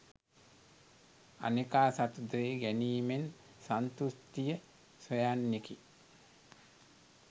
අනෙකා සතු දේ ගැනීමෙන් සන්තෘෂ්ටිය සොයන්නෙකි.